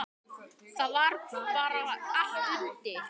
Það var bara allt undir.